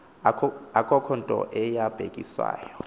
akukho nto yabhekiswayo